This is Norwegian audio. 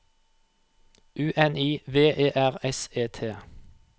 U N I V E R S E T